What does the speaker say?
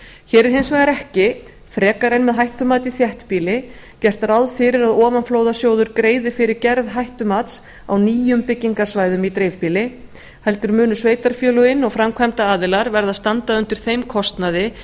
hér er hins vegar ekki frekar en með hættumat í þéttbýli gert ráð fyrir að ofanflóðasjóður greiði fyrir gerð hættumats á nýjum byggingasvæðum í dreifbýli heldur munu sveitarfélögin og framkvæmdaraðilar verða að standa undir þeim kostnaði